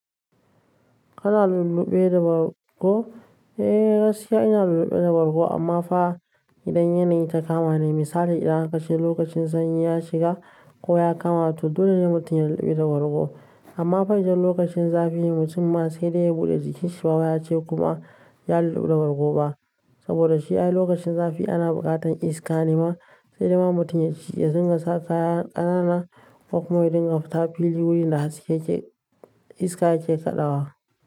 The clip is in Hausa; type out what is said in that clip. Kana lulluɓe da bargo? Eh gaskiya ina lulluɓe da bargo amma fa idan yanayi ta kama ni misali idan aka che lokacin sanyi ya shiga ko ya kama to dole ne mutum ya lulluɓu da bargo. Amma fa idan lokacin zafi ne mutum ma sai dai ya buɗe jikinsa baya ce kuma ya lulluɓe da bargo ba. Saboda shi ai lokacin zafi ana buƙatan iska ne ma sai dai ma mutum ya ci ya dinga saka kayan ƙanana kuma ya dinga fita fili wurin da haske iska ke kaɗawa.